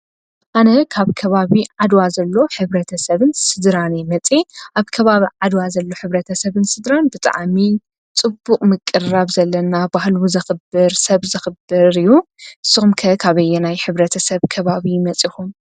ሕብረተ ሰብን ስድራን እዚ ማለት ብዙሓት ስድራ ተኣኪበን ሕብረ ተሰብ ይኾና እና ፅቡቅ ስድራ ዘለዋ ፅብቅ ሕብረተሰብ ይምስረት።